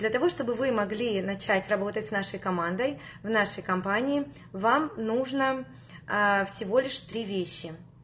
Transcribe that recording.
для того чтобы вы могли начать работать с нашей командой в нашей компании вам нужно ээ всего лишь три вещи